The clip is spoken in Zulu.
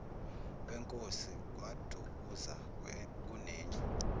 wenkosi kwadukuza kunendlu